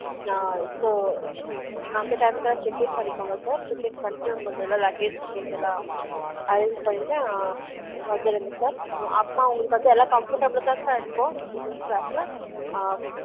நான் So அந்த time ல check-in பன்னிகொங்க sircheck-in பன்னிடு உங்கல்து luggage லாம் arrange பன்னிடு வந்துருங்க sir அப்ரமா உங்கல்கு வந்து comfortable தான் இருகும் business class